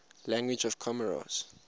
languages of comoros